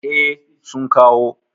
E, sun kawo.